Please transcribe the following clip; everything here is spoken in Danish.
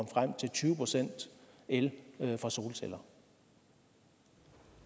frem til tyve procent el fra solceller